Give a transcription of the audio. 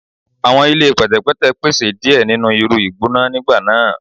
Awọn ile pẹtẹpẹtẹ pese diẹ ninu iru igbona nigba naa